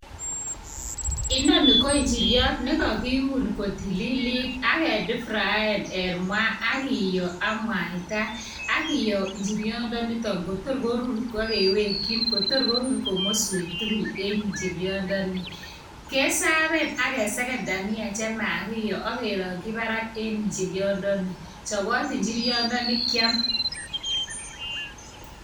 Inoni ko injiriot nekokiun kotililit ak kedeep fraen en maa ak kiyoo ak mwaita. Akiyoo injiriondonitok kotor koruur, akewekyiin Kotor korur komoswek tugul yekorur injiriondoni kesaven akesegen dhania chemakiyoo ak kerongyii barak en injiriondoni. Chobot injiriondo i kiam.